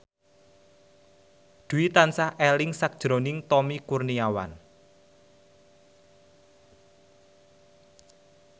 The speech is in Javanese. Dwi tansah eling sakjroning Tommy Kurniawan